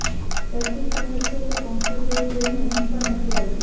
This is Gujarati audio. દર્દી કહે છે કે પંખો જોઈ જોઇને ઊંઘ પણ નથી આવતી